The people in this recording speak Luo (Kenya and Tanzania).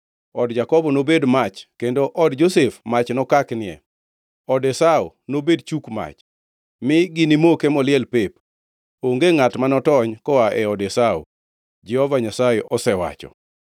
Od Jakobo nobed mach kendo od Josef mach nokaknie, od Esau nobed chuk mach, mi ginimoke moliel pep, onge ngʼat ma notony koa e od Esau.” Jehova Nyasaye osewacho.